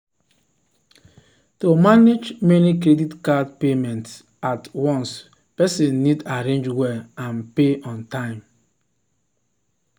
to manage many credit card payments at once person need arrange well and pay on time.